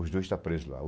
Os dois estão presos lá.